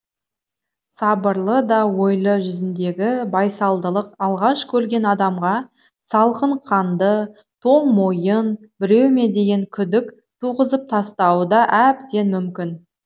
сабырлы да ойлы жүзіндегі байсалдылық алғаш көрген адамға салқын қанды тоң мойын біреу ме деген күдік туғызып тастауы да әбден мүмкін